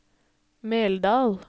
Meldal